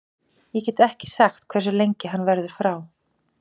Ég get ekki sagt hversu lengi hann verður frá.